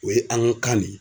O ye an ga kan de ye